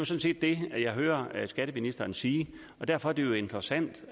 set det jeg hører skatteministeren sige derfor er det jo interessant